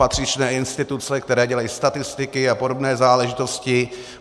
Patřičné instituce, které dělají statistiky a podobné záležitosti.